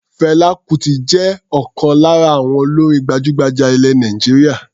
Fẹlá Kutì jẹ́ ọ̀kan lára àwọn olórin gbajúgbajà ilẹ̀ Nàìjíríà.